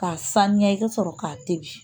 K'a sanuya i ka sɔrɔ k'a tobi